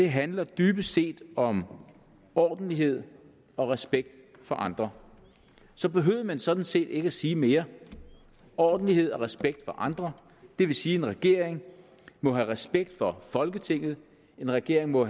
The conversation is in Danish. handler dybest set om ordentlighed og respekt for andre så behøvede man sådan set ikke at sige mere ordentlighed og respekt for andre det vil sige en regering må have respekt for folketinget en regering må